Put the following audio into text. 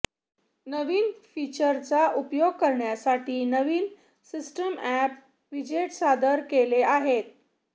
नवीन फीचरचा उपयोग करण्यासाठी नवीन सिस्टम अॅप व्हिजेट सादर केले आहे